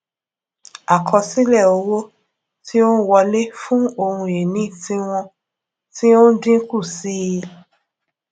àkosile owo tí ó n wọlé fun ohun ìní tiwọn ti o n dínkù sí i